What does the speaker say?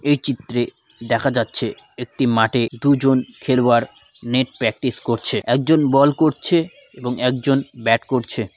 এ চিত্রে দেখা যাচ্ছে একটি মাঠে দুজন খেলোয়ার নেট প্র্যাকটিস করছে একজন বল করছে এবং একজন ব্যাট করছে ।